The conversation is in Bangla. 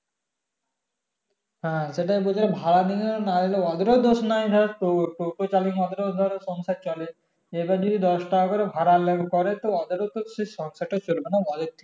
হ্যাঁ সেটাই বলছিলাম ভাড়া নি না ওদের ও দোষ নাই টো টোটো চালিয়ে ওদের ও সংসার চলে এই বার যদি দশ টাকা করে ভাড়া লেগে পরে টো ওদের ও তো সংসার টা চলবে না